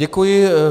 Děkuji.